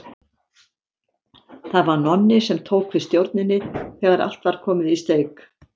Það var Nonni sem tók við stjórninni þegar allt var komið í steik.